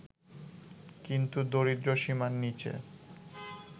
কিন্তু দরিদ্রসীমার নিচে